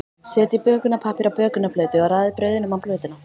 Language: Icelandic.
Setjið bökunarpappír á bökunarplötu og raðið brauðunum á plötuna.